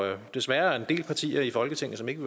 jo desværre er en del partier i folketinget som ikke